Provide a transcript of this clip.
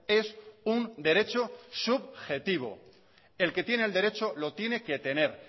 es un derecho subjetivo el que tiene el derecho lo tiene que tener